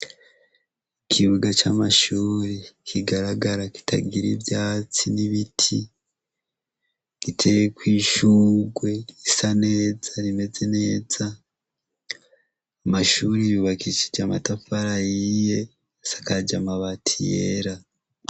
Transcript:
Ikibuga ca mashure kigaragara kitagira ivyatsi n'ibiti giteyeko ishurwe risa neza rimeze neza, Amashuri yubakishije amatafari ahiye asakaje amabati yera.